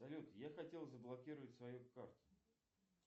салют я хотел заблокировать свою карту